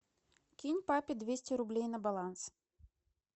кинь папе двести рублей на баланс